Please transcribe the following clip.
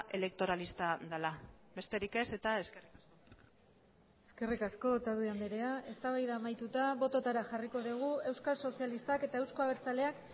elektoralista dela besterik ez eta eskerrik asko eskerrik asko otadui andrea eztabaida amaituta bototara jarriko dugu euskal sozialistak eta euzko abertzaleak